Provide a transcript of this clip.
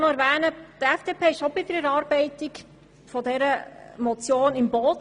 Die FDP war bei der Erarbeitung der Motion auch im Boot.